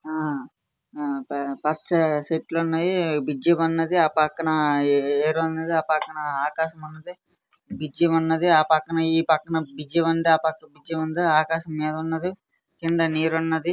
ఆ ఆ పచ్చ చెట్లున్నాయి. బ్రిడ్జ్ ఉన్నది. ఆ పక్కన ఏ--ఏరున్నది. ఆ పక్కన ఆకాశం ఉన్నది. బ్రిడ్జ్ ఉన్నది. ఆ పక్కన ఈ పక్కన బ్రిడ్జ్ ఉంది. ఆ పక్కన బ్రిడ్జ్ ఉంది. ఆకాశం మీదున్నది. కింద నీరు ఉన్నది.